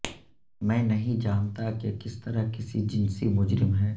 میں نہیں جانتا کہ کس طرح کسی جنسی مجرم ہے